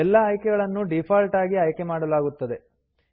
ಎಲ್ಲಾ ಆಯ್ಕೆಗಳನ್ನು ಡೀಫಾಲ್ಟ್ ಆಗಿ ಆಯ್ಕೆಮಾಡಲಾಗುತ್ತದೆ